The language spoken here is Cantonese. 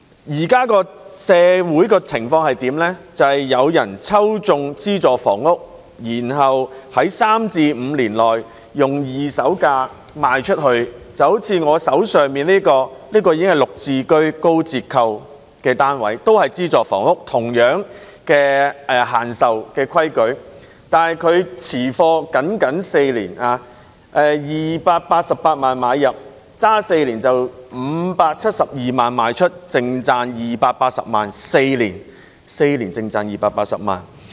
社會現在的情況是，有人抽中資助房屋，然後在第三至五年內以二手價賣出單位，就像我手上這個例子，這是"綠置居"的高折扣單位，也是資助房屋，有着同樣的轉讓限制，戶主以288萬元買入，持貨僅僅4年，其後以572萬元賣出，最後淨賺280萬元，只是4年，便淨賺280萬元。